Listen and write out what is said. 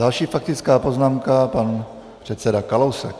Další faktická poznámka, pan předseda Kalousek.